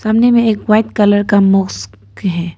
सामने में एक वाइट कलर का मास्क है।